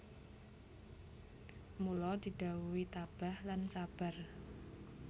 Mula didhawuhi tabah lan sabar